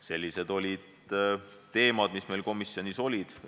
Sellised olid teemad, mis meil komisjonis olid.